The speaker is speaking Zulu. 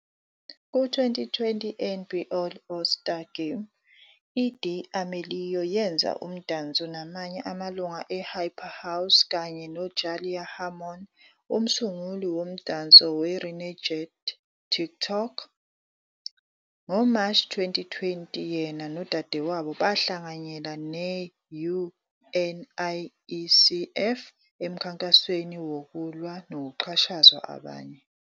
Ku-2020 NBA All-Star Game, i-D'Amelio yenza umdanso namanye amalungu e-Hype House, kanye noJalaiah Harmon, umsunguli womdanso we- "Renegade" TikTok.. NgoMashi 2020, yena nodadewabo bahlanganyela ne-UNICEF emkhankasweni wokulwa nokuxhashazwa abanye.